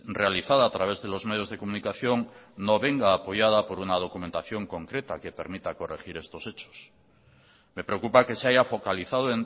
realizada a través de los medios de comunicación no venga apoyada por una documentación concreta que permita corregir estos hechos me preocupa que se haya focalizado